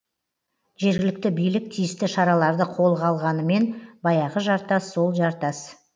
жергілікті билік тиісті шараларды қолға алғанымен баяғы жартас сол жартас